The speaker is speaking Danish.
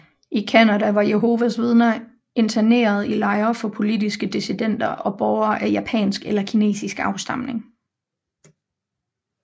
I Canada var Jehovas Vidner interneret i lejre for politiske dissidenter og borgere af japansk eller kinesisk afstamning